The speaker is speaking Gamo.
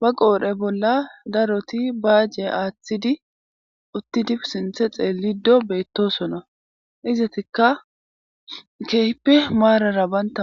ba qoodhe bolla daroti baaje aaththidi uttidi sinthe xeellido beettosona izatikka keehippe maarara banta ma